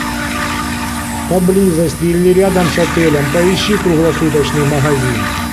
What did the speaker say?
поблизости или рядом с отелем поищи круглосуточный магазин